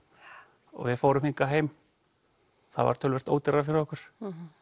og við fórum hingað heim það var töluvert ódýrara fyrir okkur